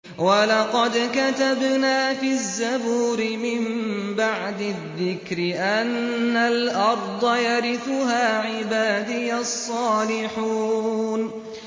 وَلَقَدْ كَتَبْنَا فِي الزَّبُورِ مِن بَعْدِ الذِّكْرِ أَنَّ الْأَرْضَ يَرِثُهَا عِبَادِيَ الصَّالِحُونَ